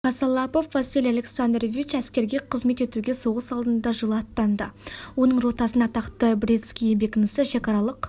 косолапов василий александрович әскерге қызмет етуге соғыс алдында жылы аттанды оның ротасын атақты бретский бекінісі шекаралық